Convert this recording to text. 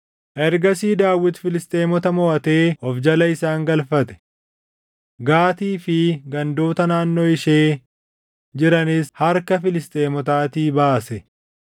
Ergasii Daawit Filisxeemota moʼatee of jala isaan galfate; Gaatii fi gandoota naannoo ishee jiranis harka Filisxeemotaatii baase.